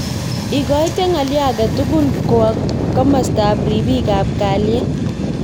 Ikoite ng'alyo age tugul kwo kimosta ab ribik ab kaliet.